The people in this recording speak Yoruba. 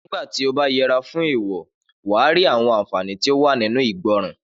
Nígbàtí ọ bá yẹra fún èèwò, wà rí àwọn àǹfàní tí ó wà nínú ìgbọràn